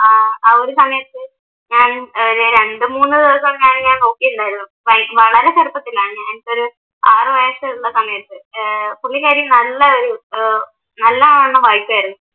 അഹ് ആ ഒരു സമയത്ത് ഏർ ഞാൻ രണ്ടുമൂന്ന് ദിവസം ഞാൻ നോക്കിയിട്ടുണ്ടായിരുന്നു വളരെ ചെറുപ്പത്തിലാണ് ആറ് വയസ്സുള്ള സമയത്ത് പുള്ളിക്കാരി നല്ലവണ്ണം വൈറ്റായിരുന്നു